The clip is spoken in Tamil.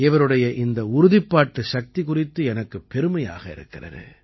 இவருடைய இந்த உறுதிப்பாட்டு சக்தி குறித்து எனக்குப் பெருமையாக இருக்கிறது